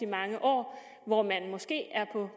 mange år hvor man måske er på